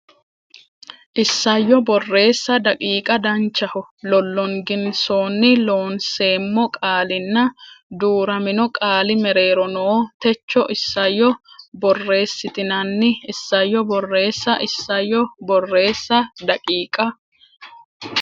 Isayyo Borreessa daqiiqa Danchaho lollonginsoonni Loonseemmo qaalinna duu ramino qaali mereero noo Techo isayyo borreessitinanni Isayyo Borreessa Isayyo Borreessa daqiiqa.